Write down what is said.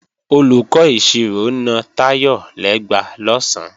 Olùkọ́ ìṣirò na Táyọ̀ lẹ́gba lọ̀sán